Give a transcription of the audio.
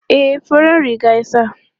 E, farar riga ya sa.